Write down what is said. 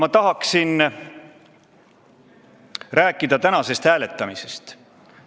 Ma tahan rääkida tänasest hääletamisest.